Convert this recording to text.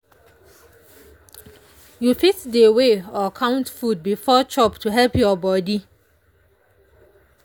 you fit dey weigh or count food before chop to help your body.